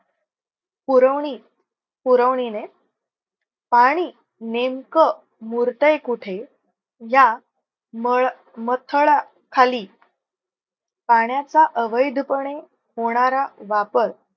पुरवणी पुरवणीने पाणी नेमकं मुरतंय कुठे? या खाली पाण्याचा अवैध पणे होणार वापर.